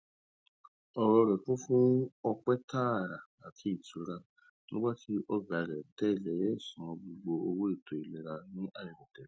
ọrọ rẹ kún fún ọpẹ tààrà àti ìtura nígbà tí ọgá rẹ tẹlẹ san gbogbo owó ètò ìlera ní àìròtẹlẹ